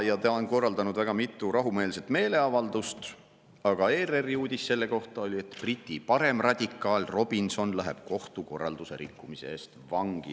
Ta on korraldanud väga mitu rahumeelset meeleavaldust, aga nüüd oli ERR-i uudis selle kohta, et Briti paremradikaal Robinson läheb kohtukorralduse rikkumise eest vangi.